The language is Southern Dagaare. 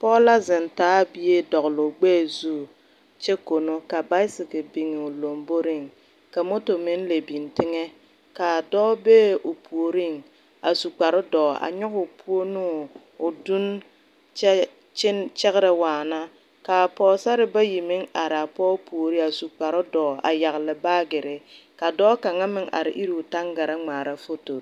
Poɔ la zeng taa bie dɔgli ɔ gbee zu kye kono ka bicicle bin ɔ lomboring ka moto meng le bing tenga ka doɔ beɛ ɔ poɔring a su kpare dou a nyuguu pou ne ɔ dunn kye kyegre waana kaa poɔsarre bayi meng arẽ a poɔ poɔring a su kpare duo a yagle baagirii ka doɔ kanga meng arẽ iri ɔ tangaraa ngmaara fotori.